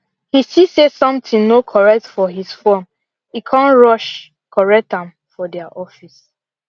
he see say something no correct for his form e come rush correct am for their office